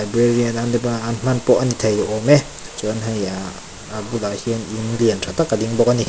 a ni thei awm e chuan hei ah a hmun ah hian in lian tha tak a ding bawk ani.